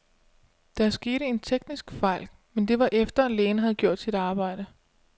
Der skete en teknisk fejl, men det var efter, lægen havde gjort sit arbejde.